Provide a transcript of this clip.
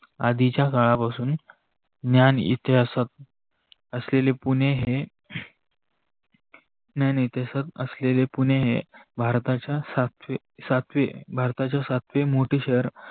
आधीच्या काळापासुन न्यान इतिहासात असलेले पुणे ह न्यान इतिहासात असलेले पुणे हे भारताच्य सातवे मोठे शहर आहे.